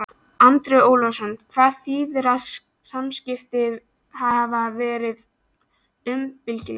Andri Ólafsson: Hvað þýðir að samskiptin hafi verið uppbyggileg?